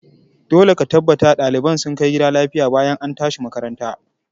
Dole ka tabbata ɗaliban sun kai gida lafiya bayan an tashi makaranta!